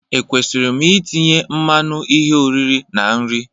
Ekwesịrị m itinye mmanụ ihe oriri na nri?